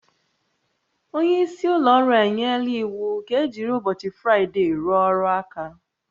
Onye isi ụlọ ọrụ enyela iwu ka ejiri ụbọchị Fraịde rụọ ọrụ aka